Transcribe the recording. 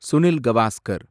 Sunil Gavaskar